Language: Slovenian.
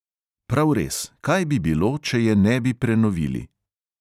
Prav res, kaj bi bilo, če je ne bi prenovili?